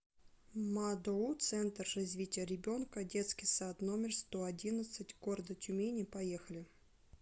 мадоу центр развития ребенка детский сад номер сто одиннадцать города тюмени поехали